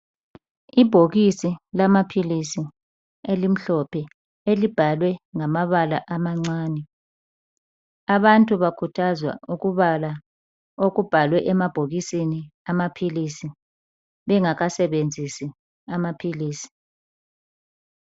Ibhokisi lamapills elimhlophe elibhalwe ngamabala amancane abantu bakhuthazwa ukubala okubhalwe emabhokisini awamapills bemgakasenzesi amapills